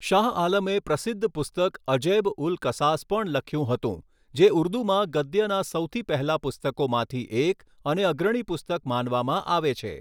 શાહ આલમે પ્રસિદ્ધ પુસ્તક અજૈબ ઉલ કસાસ પણ લખ્યું હતું, જે ઉર્દૂમાં ગદ્યનાં સૌથી પહેલા પુસ્તકોમાંથી એક અને અગ્રણી પુસ્તક માનવામાં આવે છે.